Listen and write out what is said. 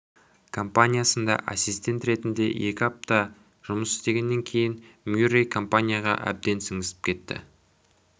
компаниясында ассистент ретінде екі апта жұмыс істегеннен кейін мюррей компанияға әбден сіңісіп кетті